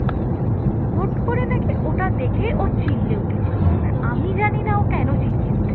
হুট্ করে নাকি ওটা দেখেই ও চিল্লে উঠেছিল এবার আমি জানি না ও কেন চেঁচিয়ে উঠেছে